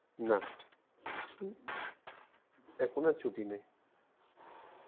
না , এখন আর ছুটি নেই